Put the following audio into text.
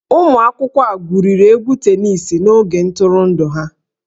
Ụmụ akwụkwọ a gwuriri egwu tenisi n'oge ntụrụndụ ha